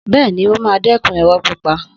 Bẹ́ẹ̀ni, ó máa dẹ́kun irọ́ pípa